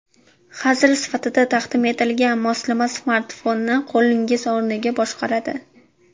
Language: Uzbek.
Hazil sifatida taqdim etilgan moslama smartfonni qo‘lingiz o‘rniga boshqaradi.